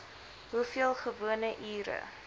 hoeveel gewone ure